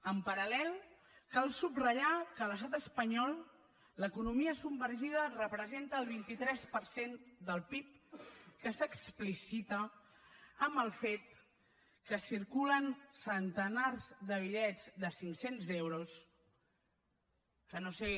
en paral·lel cal subratllar que a l’estat espanyol l’economia submergida representa el vint tres per cent del pib que s’explicita en el fet que circulen centenars de bitllets de cinccents euros que no ho sé